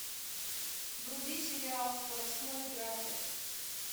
вруби сериал скоростной графер